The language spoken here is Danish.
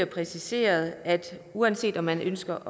præciseret at uanset om man ønsker